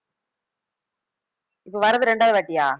இப்ப வர்றது ரெண்டாவது வாட்டியா